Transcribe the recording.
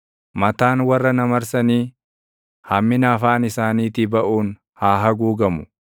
Mataan warra na marsanii, hammina afaan isaaniitii baʼuun haa haguugamu.